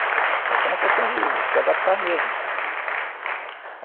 É só uma questão de de se adaptar mesmo.